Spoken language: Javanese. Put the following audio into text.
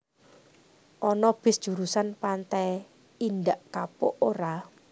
Ono bis jurusan Pantai Indak Kapuk ora